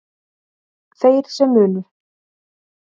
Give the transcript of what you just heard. Þeir sem munu